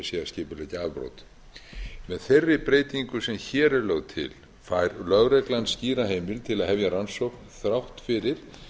skipuleggja afbrot með þeirri breytingu sem hér er lögð til fær lögreglan skýra heimild til að hefja rannsókn þrátt fyrir